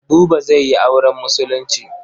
Buba zai yi auren Musulunci.